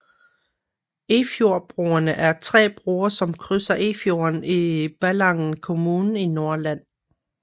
Efjordbroerne er tre broer som krydser Efjorden i Ballangen kommune i Nordland